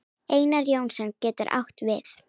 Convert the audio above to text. Einar Jónsson getur átt við